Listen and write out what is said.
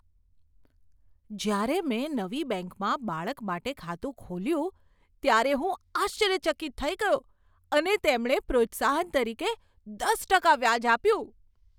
જ્યારે મેં નવી બેંકમાં બાળક માટે ખાતું ખોલ્યું ત્યારે હું આશ્ચર્યચકિત થઈ ગયો અને તેમણે પ્રોત્સાહન તરીકે દસ ટકા વ્યાજ આપ્યું.